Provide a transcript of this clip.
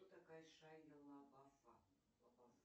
кто такая шайа лабафа